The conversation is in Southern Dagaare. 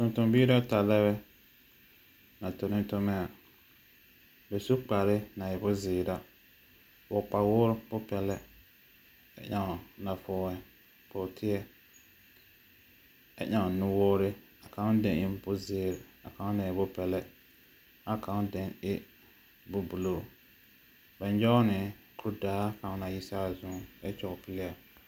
Tontombiiri ata lɛ bɛ, a tonɔ tomɛ. Bɛ su kpare na e bonzeere ra, vɔgle kpawoore bopɛle ɛ ɛŋ nafɔɔre pɔgteɛ, ɛ ɛŋ nuwoore, ã kãõ den e bozeer, ã kãõ den e bopɛla, ɛ kãõ den e bobuluu. Bɛ nyɔge ne kurdaa kaŋ na yi saa zuŋ ɛ kyɔge pulia.